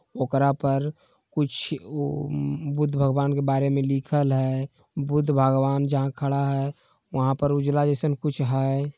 ओकरा पर कुछ ओ म बुध भगवान के बारेमे लिखल हई बुध भगवान जहा खडाहें वहा पर उजला जैसा कुछ है।